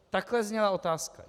Takhle zněla otázka.